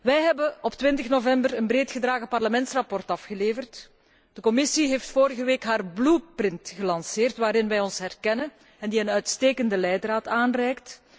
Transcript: Wij hebben op 20 november een breed gedragen Parlementsverslag afgeleverd en de Commissie heeft vorige week haar blue print gelanceerd waarin wij ons herkennen en die een uitstekende leidraad aanreikt.